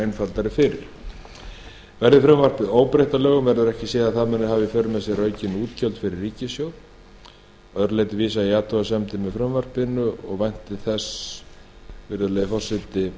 einfaldari fyrir verði frumvarpið óbreytt að lögum verður ekki séð að það muni hafa í för með sér aukin útgjöld fyrir ríkissjóð að öðru leyti vísa ég í athugasemdir með frumvarpinu og vænti þess virðulegi forseti